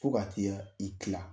Fo ka t'i i kila